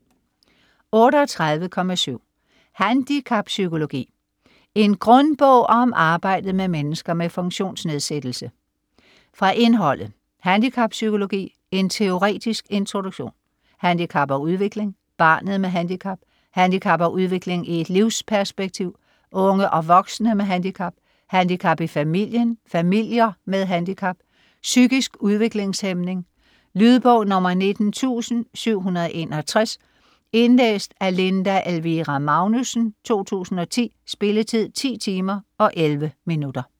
38.7 Handicappsykologi: en grundbog om arbejdet med mennesker med funktionsnedsættelse Fra indholdet: Handicappsykologi : en teoretisk introduktion; Handicap og udvikling : barnet med handicap; Handicap og udvikling i et livsperspektiv : unge og voksne med handicap; Handicap i familien - familier med handicap; Psykisk udviklingshæmning. Lydbog 19761 Indlæst af Linda Elvira Magnussen, 2010. Spilletid: 10 timer, 11 minutter.